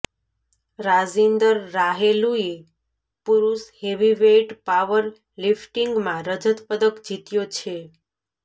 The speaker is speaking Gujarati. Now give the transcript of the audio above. રાજિંદર રાહેલૂએ પુરુષ હેવીવેઇટ પાવર લિફ્ટિંગમાં રજત પદક જીત્યો છે